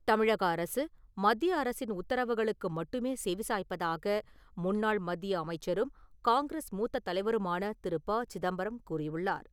தமிழக அரசு மத்திய அரசின் உத்தரவுகளுக்கு மட்டுமே செவி சாய்ப்பதாக முன்னாள் மத்திய அமைச்சரும், காங்கிரஸ் மூத்த தலைவருமான திரு. ப. சிதம்பரம் கூறியுள்ளார்.